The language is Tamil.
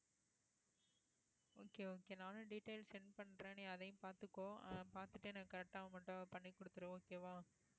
okay okay நானும் details send பண்றேன் நீ அதையும் பார்த்துக்கோ அஹ் பார்த்துட்டு எனக்கு correct ஆ பண்ணி கொடுத்துடு okay வா?